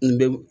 N bɛ